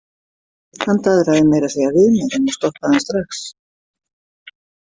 Hann daðraði meira að segja við mig en ég stoppaði hann strax.